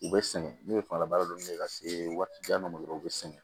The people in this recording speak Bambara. U bɛ sɛgɛn n'u ye fangalabara dɔɔni ka se waati jan dɔ ma dɔrɔn u bɛ sɛgɛn